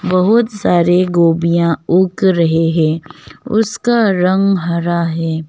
बहुत सारे गोभीया उग रहे है उसका रंग हरा है।